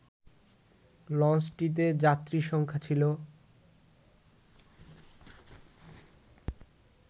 লঞ্চটিতে যাত্রীসংখ্যা ছিল